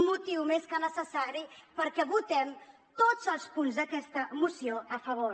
motiu més que necessari perquè votem tots els punts d’aquesta moció a favor